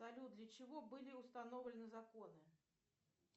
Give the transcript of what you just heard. салют для чего были установлены законы